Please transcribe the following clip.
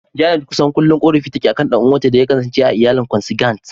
Janet kusan kullum korafi take akan ɗan'uwanta da ya kasance a iyalin "Consanguine".